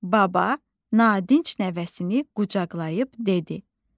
Baba nadinc nəvəsini qucaqlayıb dedi: